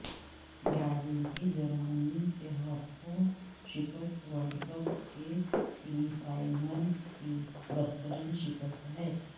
Brazil کی Germany کے ہاتھوں شکست ورلڈ کپ کے سیمی فائنلز کی بدترین شکست ہے